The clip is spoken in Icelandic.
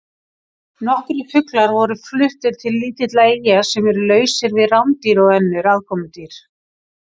Nokkrir fuglar voru fluttir til lítilla eyja sem eru lausar við rándýr og önnur aðkomudýr.